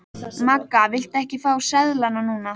Magga, viltu ekki fá sleðann núna?